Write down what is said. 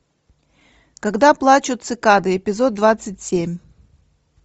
когда плачут цикады эпизод двадцать семь